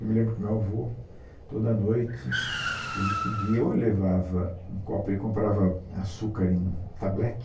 Eu me lembro que meu avô, toda noite, ele subia ou ele levava um copo, ele comprava açúcar em tablete.